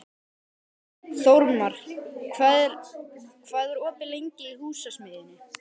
Þórmar, hvað er opið lengi í Húsasmiðjunni?